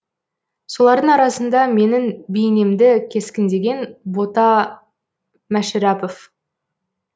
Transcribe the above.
солардың арасында менің бейнемді кескіндеген бота мәшірәпов